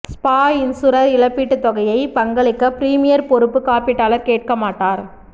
spa insurer இழப்பீட்டுத் தொகையை பங்களிக்க பிரீமியர் பொறுப்பு காப்பீட்டாளர் கேட்க மாட்டார்